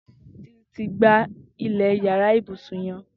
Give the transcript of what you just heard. Titi ti gbá ilẹ iyàrá ibúsún yèn